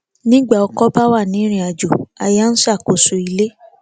nígbà ọkọ bá wà ní irinàjò aya ń ṣàkóso ilé